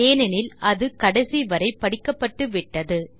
ஏனெனில் அது கடைசி வரை படிக்கப்பட்டுவிட்டது